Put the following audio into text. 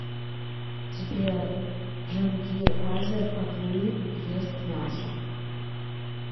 сбер джангир азер оглы ест мясо